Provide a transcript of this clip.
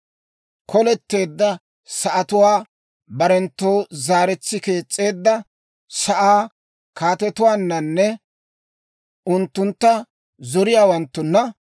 Koletteedda sa'atuwaa barenttoo zaaretsi kees's'eedda sa'aa kaatetuwaannanne unttuntta zoriyaawanttunna,